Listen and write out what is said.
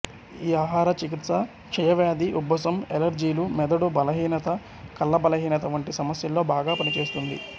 ఈ ఆహార చికిత్స క్షయవ్యాధి ఉబ్బసం ఎలర్జీలు మెదడు బలహీనత కళ్ల బలహీనత వంటి సమస్యల్లో బాగా పనిచేస్తుంది